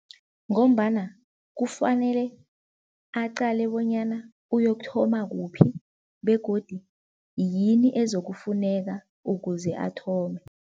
Ngombana kufanele aqale bonyana uyokuthoma kuphi begodu yini ezokufuneka ukuze athome.